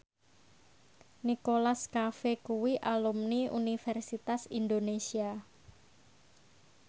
Nicholas Cafe kuwi alumni Universitas Indonesia